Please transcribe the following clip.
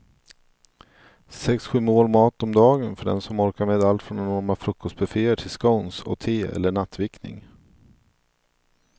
Sex, sju mål mat om dagen för den som orkar med allt från enorma frukostbufféer till scones och te eller nattvickning.